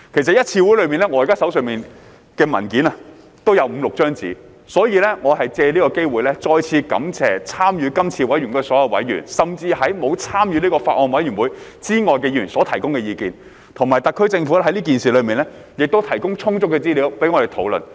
本人現時手上的文件也有五六頁紙，所以借此機會再次感謝參與今次委員會的所有委員，甚至沒有參與此法案委員會之外的議員所提供的意見，以及特區政府在此事上亦提供充足的資料讓我們討論。